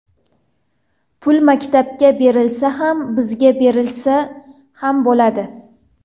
Pul maktabga berilsa ham, bizga berilsa ham bo‘ladi.